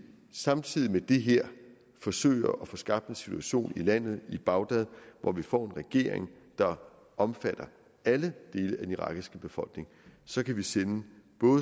samtidig med det her forsøger at få skabt en situation i landet i bagdad hvor vi får en regering der omfatter alle dele af den irakiske befolkning så kan vi sende